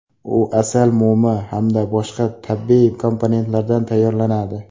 U asal mumi hamda boshqa tabiiy komponentlardan tayyorlanadi.